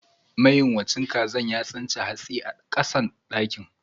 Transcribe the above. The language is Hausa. Mayunwacin kazan ya tsince hatsi a kasan dakin.